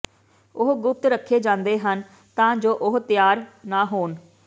ਉਹ ਗੁਪਤ ਰੱਖੇ ਜਾਂਦੇ ਹਨ ਤਾਂ ਜੋ ਉਹ ਤਿਆਰ ਨਾ ਹੋਣ